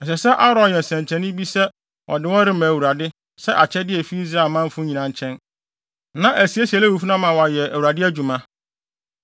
Ɛsɛ sɛ Aaron yɛ nsɛnkyerɛnne bi sɛ ɔde wɔn rema Awurade sɛ akyɛde a efi Israel manfo nyinaa nkyɛn, na asiesie Lewifo no ama wɔayɛ Awurade adwuma.